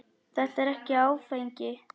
Þetta er ekkert áfengi.